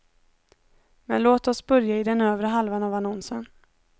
Men låt oss börja i den övre halvan av annonsen.